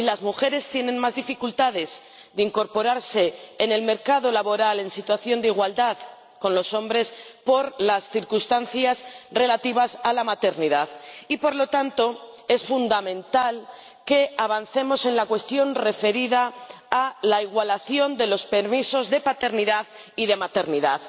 Hoy las mujeres tienen más dificultades de incorporarse al mercado laboral en situación de igualdad con los hombres por las circunstancias relativas a la maternidad y, por lo tanto, es fundamental que avancemos en la cuestión referida a la igualación de los permisos de paternidad y de maternidad.